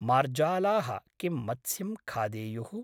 मार्जालाः किं मत्स्यं खादेयुः?